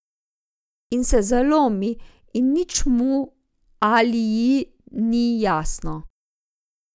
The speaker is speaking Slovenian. In se zalomi in nič mu ali ji ni jasno.